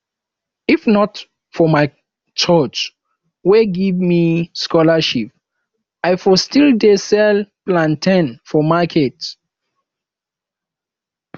if not for my church wey give me scholarship i for still dey sell plantain for market